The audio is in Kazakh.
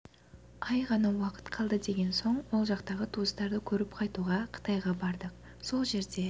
ай ғана уақыт қалды деген соң ол жақтағы туыстарды көріп қайтуға қытайға бардық сол жерде